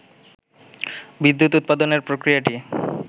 বিদ্যুৎ উৎপাদনের প্রক্রিয়াটি